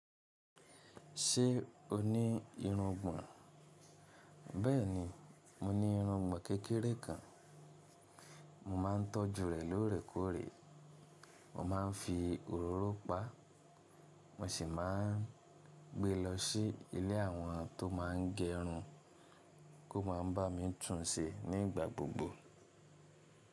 Ṣé o ní irungbọ̀n? Bẹ́ẹ̀ni, mo ní irungbọ̀n kékeré kan. Mo ma ń tọ́jú rẹ̀ lóòrèkóòrè. Mo ma ń fi òróró pa á, mo sì ma ń gbé lọ sí ilé àwọn tó má ń gẹrun ko ma n ba mi túnṣe nígbà gbogbo.